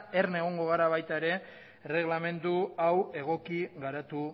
erne egongo gara baita ere erreglamendu hau egoki garatu